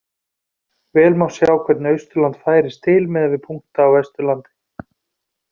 Vel má sjá hvernig Austurland færist til miðað við punkta á Vesturlandi.